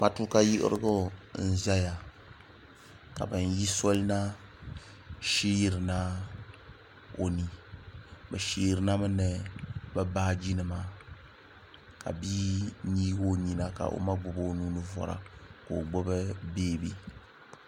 matuuka yiɣirigu n ʒɛya ka bin yi soli na sheerina o ni bi sheerina mi ni bi baaji nima ka bia yeegi o niɛma ka o ma gbubi o nuuni vora ka o gbubi beebi